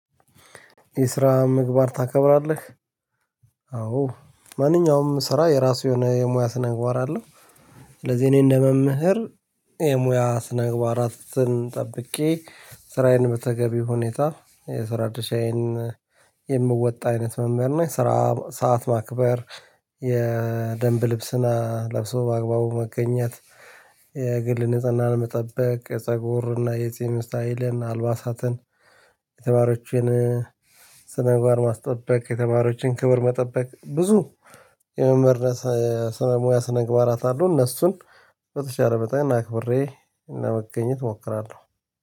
የስራ ምግባር ታከብራለህ? አዎ ማንኛውም ስራ የራሱ የሆነ የሙያ ስነ-ምግባር አለው። ስለዚህ እኔ እንደመምህር የሙያ ስነ-ምግባራት ጠብቄ ስራዬን በተገቢ ሁኔታ የስራ ድርሻዬን የምወጣ አይነት መምህር ነው። ስራ ሰዓት ማክበር የደንብ ልብስና ለብሶ በአግባቡ መገኘት። የግል ንጽህናን መጠበቅ የፀጉርና የትም ስታይል አልባሳትን የተግባሮችን ስነ ምግባር ር ማስጠበቅ የተማሪዎችን ክብር መጠበቅ ብዙ የመምህርነት ስነ ሙያ ስነ ምግባራት አለው። እነሱን በተሻለ በጣም አክክብሬ እና ለመገኘት እሞክራለሁ